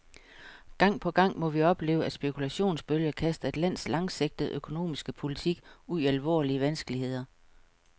Gang på gang må vi opleve, at spekulationsbølger kaster et lands langsigtede økonomiske politik ud i alvorlige vanskeligheder.